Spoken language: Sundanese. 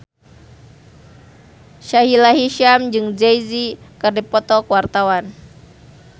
Sahila Hisyam jeung Jay Z keur dipoto ku wartawan